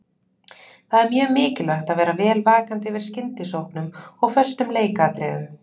Það er mjög mikilvægt að vera vel vakandi yfir skyndisóknum og föstum leikatriðum.